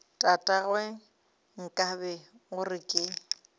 tatagwe nkabe o re ke